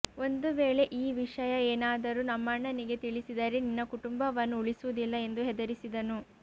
ಒಂದು ವೇಳೆ ಈ ವಿಷಯ ಏನಾದರೂ ನಮ್ಮಣ್ಣನಿಗೆ ತಿಳಿಸಿದರೆ ನಿನ್ನ ಕುಟುಂಬವನ್ನು ಉಳಿಸುವುದಿಲ್ಲ ಎಂದು ಹೆದರಿಸಿದನು